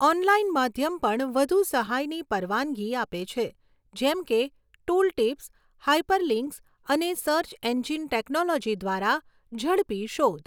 Online માધ્યમ પણ વધુ સહાયની પરવાનગી આપે છે, જેમ કે ટૂલટિપ્સ, હાઈપરલિંક્સ અને સર્ચ એન્જિન ટેક્નોલોજી દ્વારા ઝડપી શોધ.